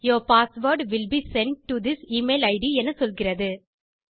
your password will be sent to this email it எனச் சொல்கிறது